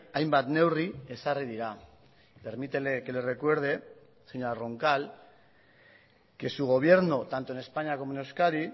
hainbat neurri ezarri dira permítele que le recuerde señora roncal que su gobierno tanto en españa como en euskadi